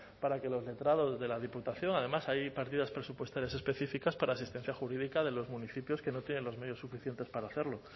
para que los letrados de la diputación además hay partidas presupuestarias específicas para asistencia jurídica de los municipios que no tienen los medios suficientes para hacerlo